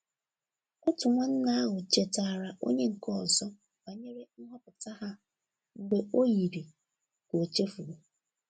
Otu nwanne ahụ chetaara onye nke ọzọ banyere nhọpụta ha mgbe o yiri ka o chefuru.